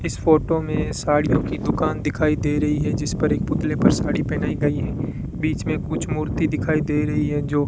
इस फोटो में साड़ियों की दुकान दिखाई दे रही है जिस पर एक पुतले पर साड़ी पहनाई गई है बीच में कुछ मूर्ति दिखाई दे रही है जो --